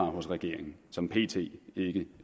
hos regeringen som pt ikke